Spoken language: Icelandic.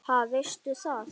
Ha, veistu það?